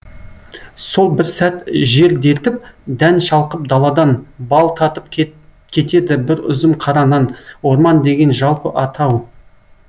сол бір сәт жер дертіп дән шалқып даладан бал татып кетеді бір үзім қара нан орман деген жалпы атау